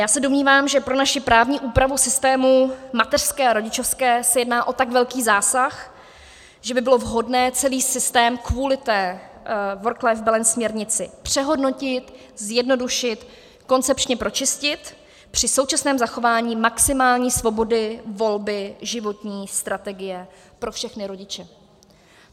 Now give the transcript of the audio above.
Já se domnívám, že pro naši právní úpravu systému mateřské a rodičovské se jedná o tak velký zásah, že by bylo vhodné celý systém kvůli té Work-Life Balance směrnici přehodnotit, zjednodušit, koncepčně pročistit při současném zachování maximální svobody volby životní strategie pro všechny rodiče.